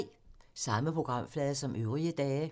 Samme programflade som øvrige dage